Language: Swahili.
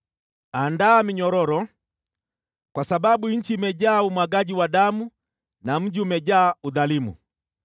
“Andaa minyororo, kwa sababu nchi imejaa umwagaji wa damu na mji umejaa udhalimu.